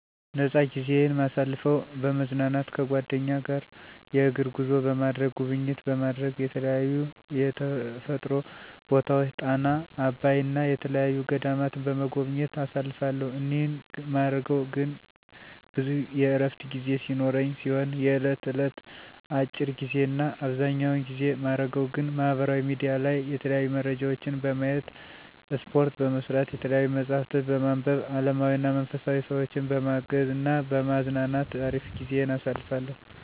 ፃነ ጊዜይን ማሳልፈው፦ በመዝናናት ከጓደኛ ጋር የእግር ጉዞ በማድረግ፣ ጉብኝት በማረግ የተለያዩ የተፈጥሮ ቦታወችን ጣና፣ አባይ እና የተየያዩ ገዳማትን በመጎብኘት አሳልፋለሁ እኒህን ማረገው ግን ብዙ የእረፍት ጊዜ ሲኖረኝ ሲሆን የእየለት እለት አጭር ጊዜ እና አብዘኛውን ጊዜ ማረገው ግን ማህበራዊ ሚዲያ ላይ የተለያዩ መረጃወችን በማየት፣ እስፓርት በመስራት፣ የተያዩ መፅሀፍትን በማንብ አለማዊና መንፈሳዊ፣ ሰወችን በማገዝ እና በማዝናናት አሪፍ ጊዜን አሳልፋለሁ።